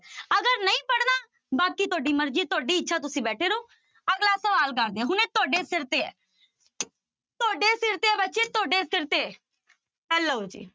ਅਗਰ ਨਹੀਂ ਪੜ੍ਹਨਾ, ਬਾਕੀ ਤੁਹਾਡੀ ਮਰਜ਼ੀ ਹੈ ਤੁਹਾਡੀ ਇੱਛਾ ਤੁਸੀਂ ਬੈਠੇ ਰਹੋ, ਅਗਲਾ ਸਵਾਲ ਕਰਦੇ ਹਾਂ ਹੁਣ ਇਹ ਤੁਹਾਡੇ ਸਿਰ ਤੇ ਹੈ ਤੁਹਾਡੇ ਸਿਰ ਤੇ ਹੈ ਬੱਚੇ ਤੁਹਾਡੇ ਸਿਰ ਤੇ ਇਹ ਲਓ ਜੀਪ